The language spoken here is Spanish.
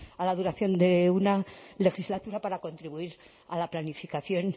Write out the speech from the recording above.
a la duración de una legislatura para contribuir a la planificación